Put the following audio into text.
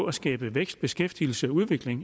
at skabe vækst beskæftigelse og udvikling